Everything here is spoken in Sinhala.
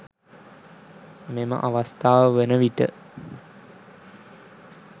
මෙම අවස්ථාව වන විට